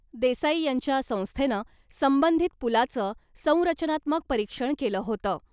देसाई यांच्या संस्थेनं संबधित पुलाचं संरचनात्मक परीक्षण केलं होतं .